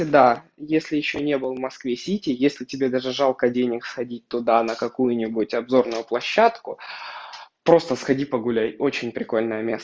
да если ещё не был в москве-сити если тебе даже жалко денег сходить туда на какую-нибудь обзорную площадку просто сходи погуляй очень прикольное место